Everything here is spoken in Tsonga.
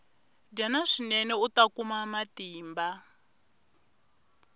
dyana swinene uta kuma matimba